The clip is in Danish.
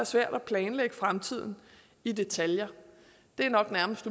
svært at planlægge fremtiden i detaljer det er nok nærmest